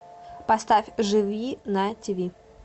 поставь живи на тиви